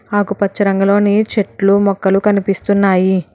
ఆకుపచ్చ రంగులోనే చెట్లు మొక్కలు కనిపిస్తున్నాయి.